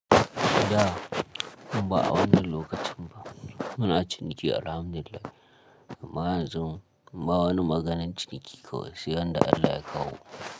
Da ba a wani lokacin ba, muna ciniki alhamdu lillah. Mu a zo, ba wani maganan ciniki kawai, sai ran da Allah ya kawo.